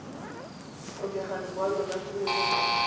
tlhokega lekwalo la tumelelo go